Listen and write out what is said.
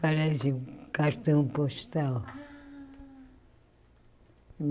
Parece cartão postal.